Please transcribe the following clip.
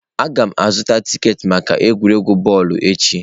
Aga m azụta tiketi maka egwuregwu bọọlụ echi.